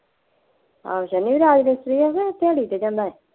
ਆਹੋ ਸ਼ਨੀ ਰਾਜ ਮਿਸਤਰੀ ਹੈ ਕਿ ਦਿਹਾੜੀ ਤੇ ਜਾਂਦਾ